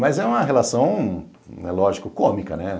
Mas é uma relação, lógico, cômica, né?